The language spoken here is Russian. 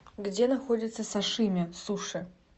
где находится сашими суши